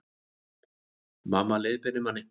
Mamma leiðbeinir manni